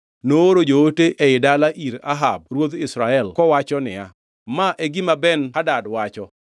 Nooro joote ei dala ir Ahab ruodh Israel kawacho niya, “Ma e gima Ben-Hadad wacho: